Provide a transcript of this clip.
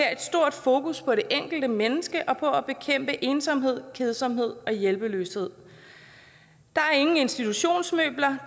fokus på det enkelte menneske og på at bekæmpe ensomhed kedsomhed og hjælpeløshed der er ingen institutionsmøbler